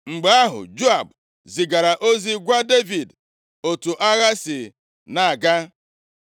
Mgbe ahụ, Joab zigara ozi gwa Devid otu agha si na-aga,